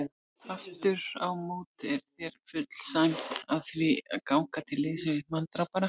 Afturámóti er þér full sæmd að því að ganga til liðs við manndrápara.